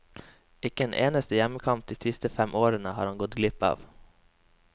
Ikke en eneste hjemmekamp de siste fem årene har han gått glipp av.